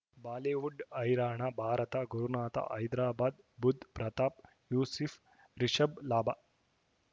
Bollywood ಹೈರಾಣ ಭಾರತ ಗುರುನಾಥ ಹೈದರಾಬಾದ್ ಬುಧ್ ಪ್ರತಾಪ್ ಯೂಸಿಫ್ ರಿಷಬ್ ಲಾಭ